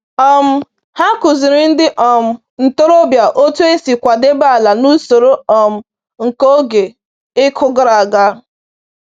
um Ha kụziri ndị um ntorobịa otu esi kwadebe ala n’usoro um nke oge ịkụ gara aga